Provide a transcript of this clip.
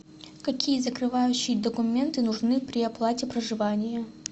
какие закрывающие документы нужны при оплате проживания